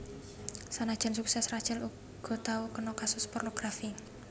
Sanajan suksès Rachel uga tau kena kasus pornografi